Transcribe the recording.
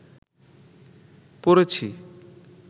পড়েছি